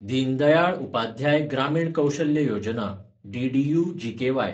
दीन दयाळ उपाध्याय ग्रामीण कौशल्य योजना (डीडीयू-जीकेवाय)